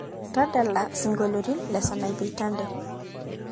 tadala siongoliti le sainapei tande